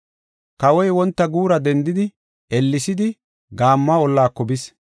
Kawoy wonta guura dendidi, ellesidi gaammo ollaako bis.